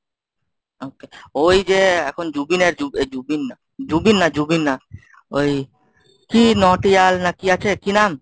okay ওই যে এখন জুবিনার এই জুবিন না জুবিন না জুবিন না ওই কি নটিয়াল না কি আছে কি নাম?